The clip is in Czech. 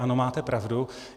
Ano, máte pravdu.